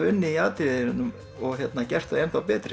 unnið í atriðinu og gert það betra